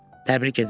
Təbrik edirəm.